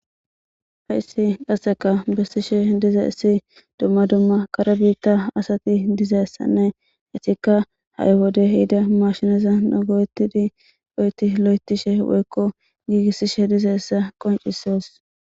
haissi qaseka bessishe diza issi dumma dumma karabiitta asati dizeyssanne hesikka ha7i wode hida mashineza nagoetidi oyti lo7etishe woykko giigissishe dize essa qoncisos